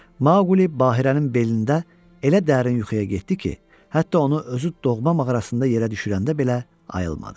Maqli Bahirənin belində elə dərin yuxuya getdi ki, hətta onu özü doğma mağarasında yerə düşürəndə belə ayılmadı.